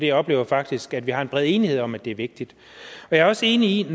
jeg oplever faktisk at vi har en bred enighed om at det er vigtigt jeg er også enig i